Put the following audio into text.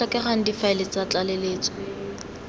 go tlhokegang difaele tsa tlaleletso